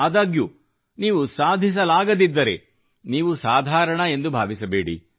ಆದಾಗ್ಯೂ ನೀವು ಸಾಧಿಸಲಾಗದಿದ್ದರೆ ನೀವು ಸಾಧಾರಣ ಎಂದು ಭಾವಿಸಬೇಡಿ